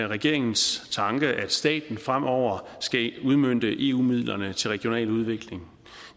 regeringens tanke at staten fremover skal udmønte eu midlerne til regional udvikling